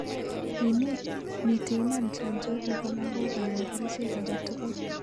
Ini, miten iman chanjo chepo lagok anan kerchek aketugul?